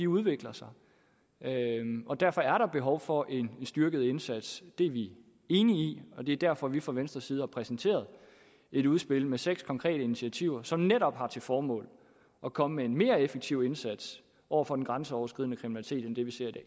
udvikler sig og derfor er der behov for en styrket indsats det er vi enige i og det er derfor vi fra venstres side har repræsenteret et udspil med seks konkrete initiativer som netop har til formål at komme med en mere effektiv indsats over for den grænseoverskridende kriminalitet end det vi ser